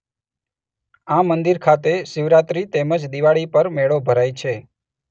આ મંદિર ખાતે શિવરાત્રી તેમજ દિવાળી પર મેળો ભરાય છે.